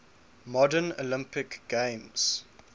modern olympic games